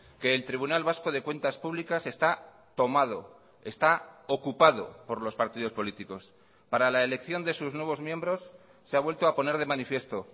que el tribunal vasco de cuentas públicas está tomado está ocupado por los partidos políticos para la elección de sus nuevos miembros se ha vuelto a poner de manifiesto